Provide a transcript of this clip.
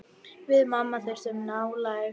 Við mamma þurftum nálægð.